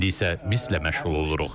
İndi isə misslə məşğul oluruq.